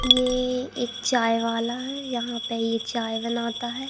ये एक चाय वाला है यहां पे ये चाय बनाता है।